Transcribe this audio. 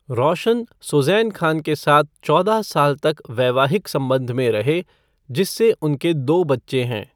रोशन सुज़ैन खान के साथ चौदह साल तक वैवाहिक संबंध में रहे, जिससे उनके दो बच्चे हैं।